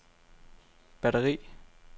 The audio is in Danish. batteri